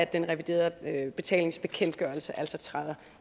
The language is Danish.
den reviderede betalingsbekendtgørelse altså træder